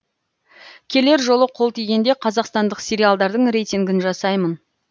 келер жолы қол тигенде қазақстандық сериалдардың рейтингін жасаймын